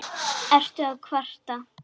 Ertu að kvarta?